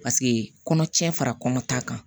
Paseke kɔnɔtiɲɛ fara kɔnɔ ta kan